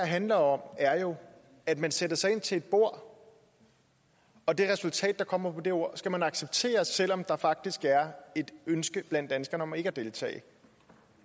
handler om er jo at man sætter sig ind til et bord og det resultat der kommer på det bord skal man acceptere selv om der faktisk er et ønske blandt danskerne om ikke at deltage